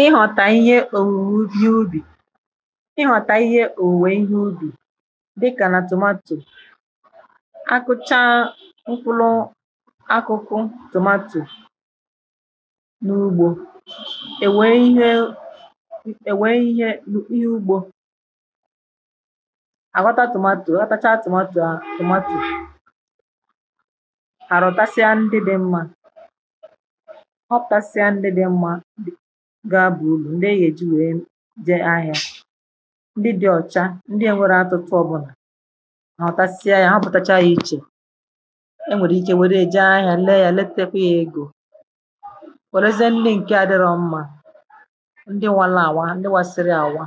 ị họ̀tà ihe òwùwò dị n’ubì: ị họ̀tà ihe òwùwè ihe ubì dịkà nà tȯmatȯ. Akụ̇chaa mkpụlụ akụ̇kụ̇ tụmatụ n’ugbȯ è wèe ihe, è wèe ihe ihe ugbȯ àghọta tȯmatȯ, a ghọtacha tȯmatȯ à tȯmatȯ. Aghọtasịa ndị dị mmȧ ghọputasịa ndị dị mmȧ ga-abụ̀ ùrù, ndị e yà èji wee jee ahịa. Ndị dị̇ ọ̀chà, ndị n'enweghi atụtụ ọbụlà à. Aghọtasịa yȧ hopụtacha ya ichè. E nwèrè ike wère ya jee ahịa lee yȧ lee tekwȧ ya egȯ. Wèrezie ndi ǹke adịrọ mmȧ, ndị wala àwa ndị wa siri àwa,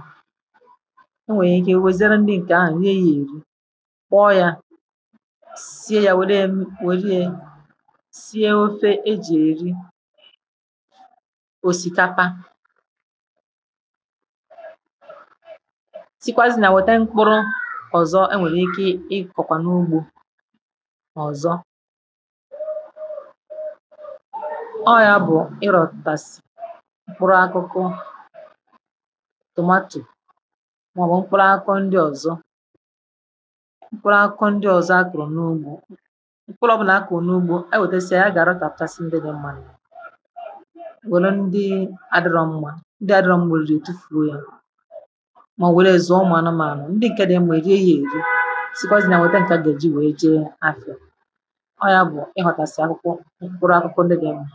o nwèrè ike we ziere ndi ǹkè ahù na-èri. Kwọ yȧ, sie yȧ, wère wère sie ofe eji-eri òsìkapa. Sikwazì nà yà nwete mkpụrụ̇ ọ̀zọ e nwèrè ike ịkọ̀kwà n’ugbȯ nà ọ̀zọ ọ. ọ̇yȧ bụ̀ ịrọ̀tàsị̀ mkpụrụ akụkụ tȯmatȯ maọ̀bụ̀ mkpụrụ akụku ndị ọ̀zọ mkpụrụ akụkụ ndị ọ̀zọ akụrụ̇ n’ugbȯ. Mkpụrụ ọbụlà akụru n'ụgbo e wetesia yà, a ga aratakasi ndị di nmȧ, wère ndị adịrọ̇ nmȧ, ndị adịrọ̇ nmȧ èrirì tufuo ya, mà ọ̀ bu wè rèè zùo ụ̀mụ̀ anụmanụ̀, ndị ǹkẹ̀ dị mma èri ya èri e, sikwa zì na ya nwete ǹkẹ̀ à gà èji wèe jee afia. ọ yȧ bụ̀ ị hụ̀tàsì akwụkwọ, mkpụrụ akwụkwọ ndị di nmȧ.